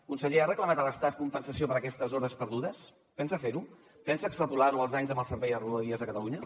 conseller ha reclamat a l’estat compensació per aquestes hores perdudes pensa fer ho pensa extrapolar ho als anys amb el servei de rodalies a catalunya